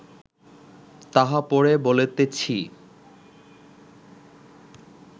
তাহা পরে বলিতেছি